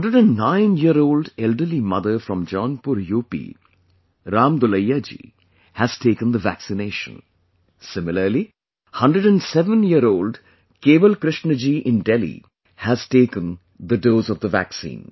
109 year old elderly mother from Jaunpur UP, Ram Dulaiya ji has taken the vaccination; similarly 107 year old Kewal Krishna ji in Delhi has taken the dose of the vaccine